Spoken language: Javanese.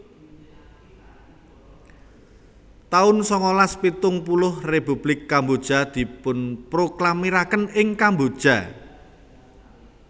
taun sangalas pitung puluh Republik Kamboja dipunproklamiraken ing Kamboja